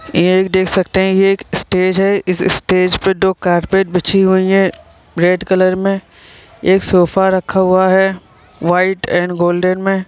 ये एक देख सकते है ये एक स्टेज है इस स्टेज दो कारपेट बिछा हुइ है रेड कलर में एक सोफे रखा हुआ है वाइट एंड गोल्डन में।